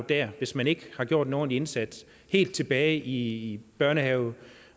dér hvis man ikke har gjort en ordentlig indsats helt tilbage i børnehaven